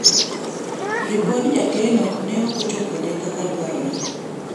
ripod jakeno ne ok ochopone kaka dwarore